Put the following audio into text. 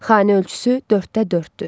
Xana ölçüsü dörddə dörddür.